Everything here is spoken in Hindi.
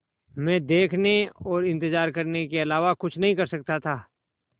मैं देखने और इन्तज़ार करने के अलावा कुछ नहीं कर सकता था